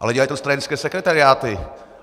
Ale dělají to stranické sekretariáty.